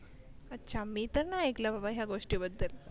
अच्छा मी त नाय ऐकलं बाबा या गोष्टी बद्दल.